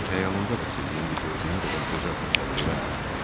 Hətta xəyalımda da sizi indi gördüyüm qədər gözəl təsəvvür eləmirdim.